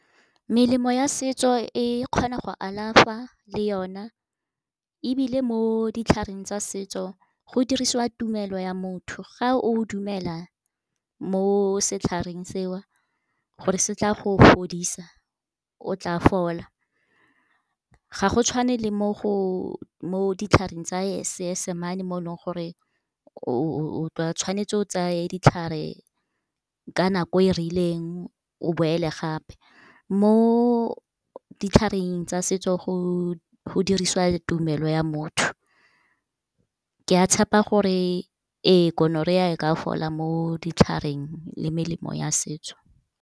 Melemo ya setso e kgona go alafa le yona. Ebile mo ditlhareng tsa setso, go dirisiwa tumelo ya motho, ga o dumela mo setlhareng seo gore se tla go fodisa, o tla fola. Ga go tshwane le mo ditlhareng tsa Seesemane mo leng gore, o tla tshwanetse o tseye ditlhare ka nako e rileng, o boela gape. Mo ditlhareng tsa setso, go dirisiwa tumelo ya motho. Ke a tshepa gore ee Gonorrhea e ka fola mo ditlhareng le melemo ya setso.